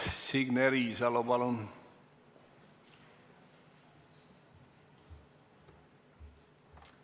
Signe Riisalo, palun!